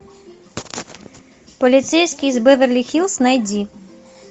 полицейский из беверли хиллз найди